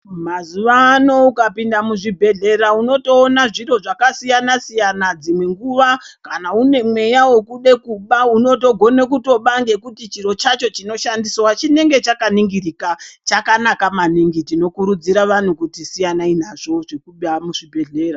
Mazuvano ukapinda muzvibhedhlera unotoona zviro zvakasiyana siyana. Dzimwe nguva kana une mweya wekude kuba unotogone kutoba ngekuti chiro chacho chinoshandiswa chinenge chakaningirika, chakanaka maningi. Tinokurudzira vanhu kuti siyanai nazvo zvekuba muzvibhedhlera.